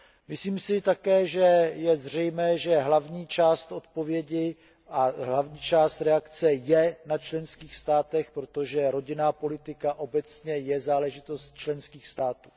Myslím si také, že je zřejmé, že hlavní část odpovědi a hlavní část reakce je na členských státech, protože rodinná politika obecně je záležitost členských států.